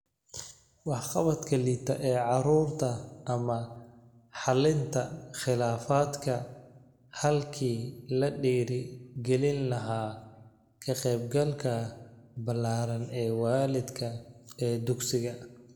Waxqabadka liita ee carruurta ama xallinta khilaafaadka halkii la dhiirigelin lahaa ka qaybgalka ballaaran ee waalidka ee dugsiga.